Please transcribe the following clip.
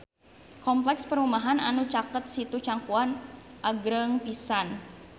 Kompleks perumahan anu caket Situ Cangkuang agreng pisan